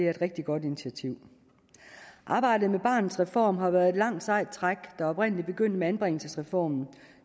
rigtig godt initiativ arbejdet med barnets reform har været et langt sejt træk der oprindelig begyndte med anbringelsesreformen